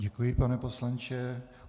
Děkuji, pane poslanče.